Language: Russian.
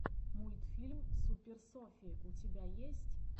мультфильм супер софи у тебя есть